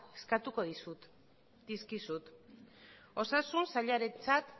eskatuko dizkizut osasun sailarentzat